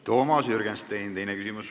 Toomas Jürgenstein, teine küsimus.